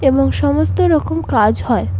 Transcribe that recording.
এবং সমস্ত রকম কাজ হয়।